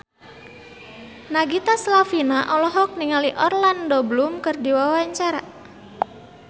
Nagita Slavina olohok ningali Orlando Bloom keur diwawancara